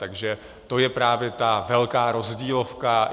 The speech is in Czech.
Takže to je právě ta velká rozdílovka.